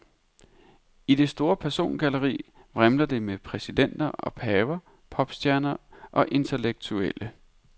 I det store persongalleri vrimler det med præsidenter og paver, popstjerner og intellektuelle.